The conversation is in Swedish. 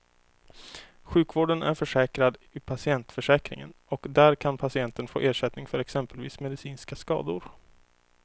Sjukvården är försäkrad i patientförsäkringen och där kan patienten få ersättning för exempelvis medicinska skador.